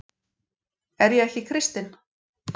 Er ég ekki kristinn?